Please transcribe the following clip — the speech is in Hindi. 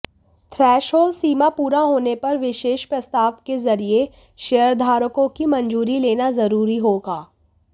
थ्रैसहोल्ड सीमा पूरा होने पर विशेष प्रस्ताव के जरिये शेयरधारकों की मंजूरी लेना जरूरी होगा